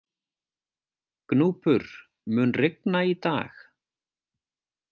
Gnúpur, mun rigna í dag?